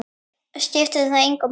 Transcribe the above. Skiptir það engu máli?